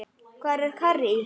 Hvað er karrí?